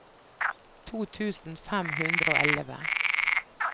to tusen fem hundre og elleve